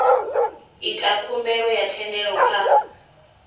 ita khumbelo ya thendelo kha